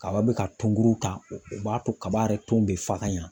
Kaba bɛ ka tɔnguru ta o b'a to kaba yɛrɛ ton bɛ fagayan.